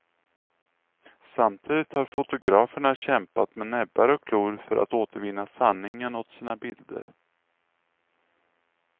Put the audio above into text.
Samtidigt har fotograferna kämpat med näbbar och klor för att återvinna sanningen åt sina bilder.